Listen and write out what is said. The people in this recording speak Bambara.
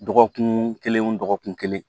Dɔgɔkun kelen o dɔgɔkun kelen